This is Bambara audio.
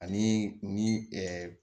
Ani ni